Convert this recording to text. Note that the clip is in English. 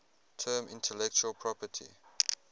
term intellectual property